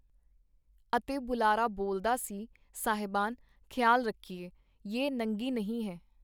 ਅਤੇ ਬੁਲਾਰਾ ਬੋਲਦਾ ਸੀ - ਸਾਹਿਬਾਨ, ਖਿਆਲ ਰਖੀਏ, ਯੇ ਨੰਗੀ ਨਹੀਂ ਹੈ.